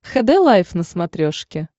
хд лайф на смотрешке